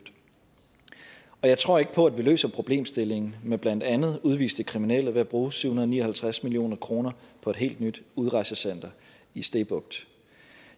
jeg tror ikke på at vi løser problemstillingen med blandt andet udviste kriminelle ved at bruge syv hundrede og ni og halvtreds million kroner på et helt ny udrejsecenter i stege bugt